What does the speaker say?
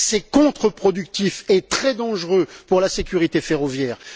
C'est contreproductif et très dangereux pour la sécurité ferroviaire.